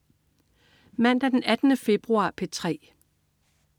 Mandag den 18. februar - P3: